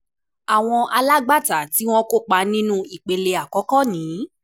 Awọn alagbata ti o kopa ninu Ipele 1 ni: